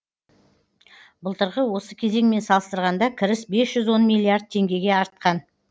былтырғы осы кезеңмен салыстырғанда кіріс бес жүз он миллиард теңгеге артқан